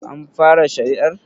An fara shari'ar?